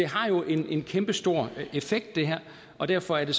har jo en kæmpestor effekt derfor er